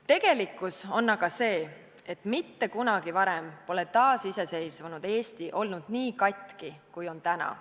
" Tegelikkus on aga see, et mitte kunagi varem pole taasiseseisvunud Eesti olnud nii katki kui täna.